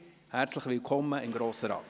Herzlich willkommen im Grossen Rat!